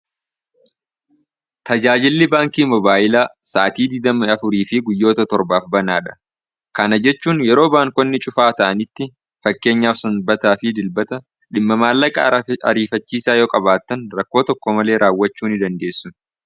tajaajilli baankii mobaayilaa sa'atii digdami afur fi guyyoota torbaaf banaa dha kana jechuun yeroo baankonni cufaa ta'aniitti fakkeenya sanbataa fi dilbata dhimma maallaqa ariifachiisaa yoo qabaattan rakkoo tokko malee raawwachuu ni dandeessun